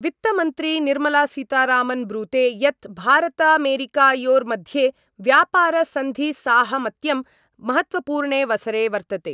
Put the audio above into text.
वित्तमन्त्री निर्मलासीतारामन् ब्रूते यत् भारतामेरीकयोर्मध्ये व्यापारसन्धिसाहमत्यं महत्वपूर्णेवसरे वर्तते।